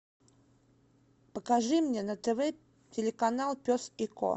покажи мне на тв телеканал пес и ко